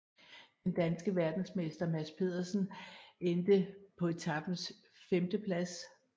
Den danske verdensmester Mads Pedersen endte på etapens femteplads